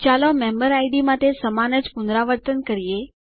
ચાલો મેમ્બેરિડ માટે સમાન જ પુનરાવર્તન કરીએ